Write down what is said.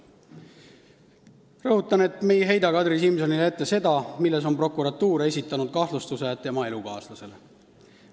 Rõhutan, et me ei heida Kadri Simsonile ette seda, milles on prokuratuur esitanud kahtlustuse tema elukaaslasele.